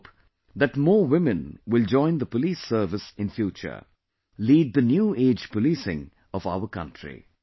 I hope that more women will join the police service in future, lead the New Age Policing of our country